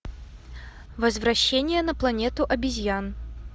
возвращение на планету обезьян